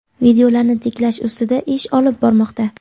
videolarni tiklash ustida ish olib bormoqda.